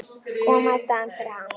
Koma í staðinn fyrir hann.